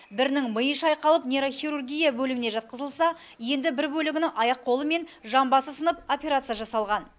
бірінің миы шайқалып нейрохирургия бөліміне жатқызылса енді бір бөлігінің аяқ қолы мен жамбасы сынып операция жасалған